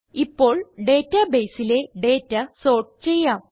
ഇപ്പോൾ databaseലെ data sort ചെയ്യാം